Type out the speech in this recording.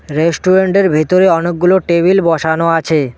রেস্টুরেন্টের ভিতরে অনেক গুলো টেবিল বসানো আছে।